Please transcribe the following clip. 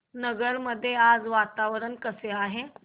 नगर मध्ये आज वातावरण कसे आहे